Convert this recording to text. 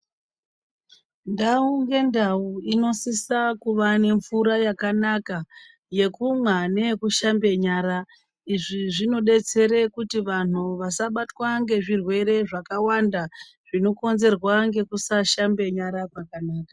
Ndau ngendau inosisa kuva nemvura yakanaka yekumwa neyekushambe nyara izvi zvinodetsere kuti vandu vasabatwa ngezvirwere zvakawanda zvinokonzerwa ngekusashambe nyara zvakanaka.